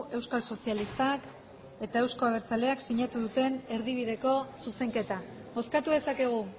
euskal sozialistak eta euzko abertzaleak sinatu duten erdibideko zuzenketa bozkatu dezakegu